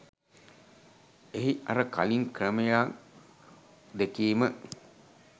එහි අර කළින් ක්‍රමයන් දෙකේම